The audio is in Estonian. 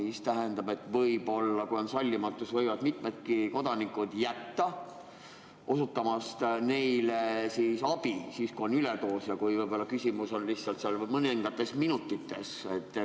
See tähendab seda, et sallimatuse tõttu võivad mitmed kodanikud jätta VSN-ile abi osutamata, kui too on saanud üledoosi ja küsimus on mõnes minutis.